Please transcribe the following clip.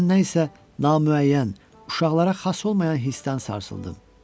Və mən nə isə namüəyyən, uşaqlara xas olmayan hissdən sarsıldım.